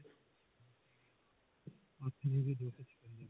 ਅੱਠ GB ਦੋ ਸੋ ਛਪੰਜਾ